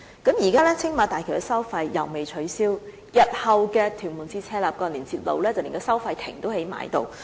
現時青馬大橋的收費既未取消，興建屯門至赤鱲角連接路的收費亭更已興建完成。